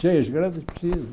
Cheias grandes precisa.